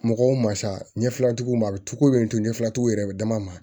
Mɔgɔw ma sa ɲɛfilatigiw ma a bɛ tugu to ɲɛfilaw yɛrɛ bɛ dama ma